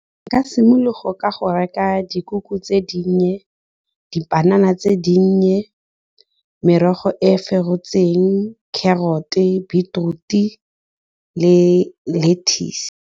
E ka simologa ka go reka dikoko tse dinnye, dipanana tse dinnye, merogo e ferotseng, carrot, beetroot le lettuce.